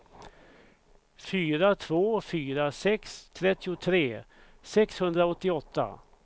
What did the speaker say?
fyra två fyra sex trettiotre sexhundraåttioåtta